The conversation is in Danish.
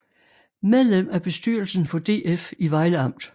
Medlem af bestyrelsen for DF i Vejle Amt